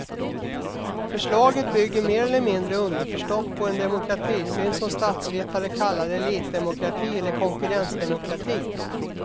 Förslaget bygger mer eller mindre underförstått på en demokratisyn som statsvetare kallar elitdemokrati eller konkurrensdemokrati.